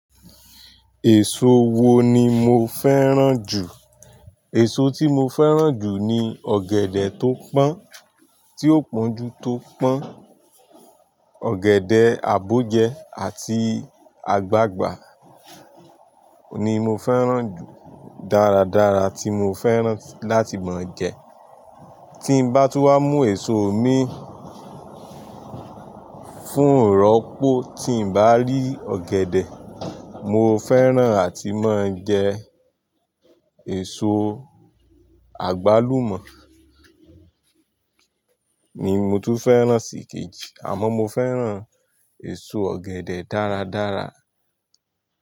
Èso wo ni mo fẹ́ràn jù? Èso tí mo fẹ́ràn jù ni ọ̀gẹ̀dẹ̀ tó pọ́n, tí ó pọ́njú tó pọ́n. Ọ̀gẹ̀dẹ̀, àbọ́jẹ àti àgbagbà oun ni mo fẹ́ràn jù. Daradara tí mo fẹ́ràn láti máa jẹ. Tí n bá tú wá mú èso mi fún ìrọ́pò, tí n bá rí ọ̀gẹ̀dẹ̀ mo fẹ́ràn àti máa ń jẹ èso àgbálùmọ̀ ni mo tún fẹ́ràn sì kejì àmọ́ mo fẹ́ràn èso ọ̀gẹ̀dẹ̀ dáradára.